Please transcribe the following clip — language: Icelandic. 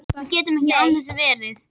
Við gætum ekki án þess verið